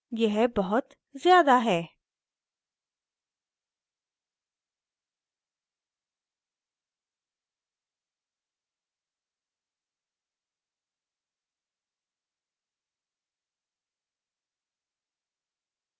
यह बहुत ज्यादा है